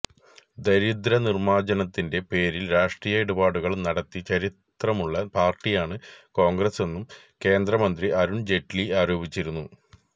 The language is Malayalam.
ദാരിദ്ര്യ നിര്മ്മാര്ജനത്തിന്റെ പേരില് രാഷ്ട്രീയ ഇടപാടുകള് നടത്തി ചരിത്രമുള്ള പാര്ട്ടിയാണ് കോണ്ഗ്രസെന്നും കേന്ദ്ര മന്ത്രി അരുണ് ജെയ്റ്റിലി ആരോപിച്ചിരുന്നു